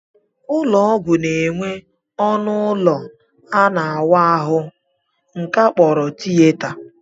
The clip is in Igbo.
Ụlọọgwụ na-enwe ọnụụlọ ebe a na-awa ahụ nke a kpọrọ tiyeta